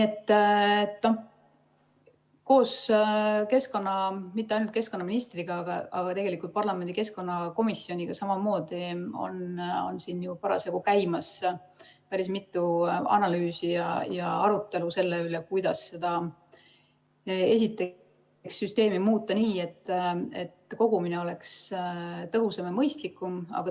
Koos keskkonnaministriga, aga mitte ainult keskkonnaministriga, tegelikult ka parlamendi keskkonnakomisjoniga on ju parasjagu käimas päris mitu analüüsi ja arutelu selle üle, kuidas esiteks muuta seda süsteemi nii, et kogumine oleks tõhusam ja mõistlikum.